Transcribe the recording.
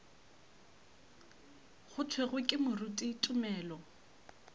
go thwego ke moruti tumelo